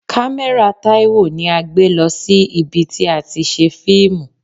Kamera Taiwo ni a gbé lọ sí ibi tí a ti ṣe fíìmù.